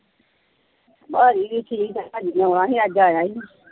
ਪਾਜੀ ਵੀ ਠੀਕ ਹੈ ਪਾਜੀ ਨੇ ਆਉਣਾ ਸੀ ਅੱਜ ਆਇਆ ਨੀ।